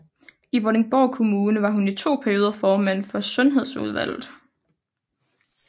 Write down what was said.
I Vordingborg Kommune var hun i to perioder formand for sundhedsudvalget